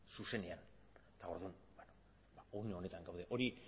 zuzenean eta orduan une honetan gaude hori